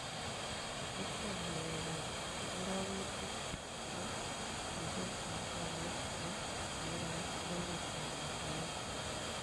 Iitwon ng'aleekap karogutiik chebo betusiekap tolait ne po amerika ak silingitap tanzania